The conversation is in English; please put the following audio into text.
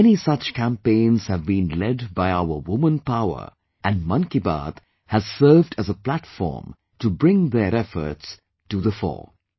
Many such campaigns have been led by our woman power and 'Mann Ki Baat' has served as a platform to bring their efforts to the fore